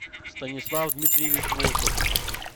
станислав дмитриевич волков